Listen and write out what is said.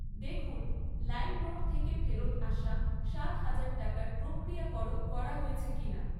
দেখুন লাইমরোড থেকে ফেরত আসা সাত হাজার টাকার প্রক্রিয়াকরণ করা হয়েছে কিনা।